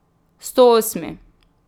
Stoosmi!